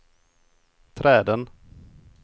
träden